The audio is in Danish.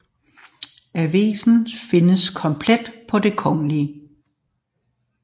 Avisen findes komplet på Det Kgl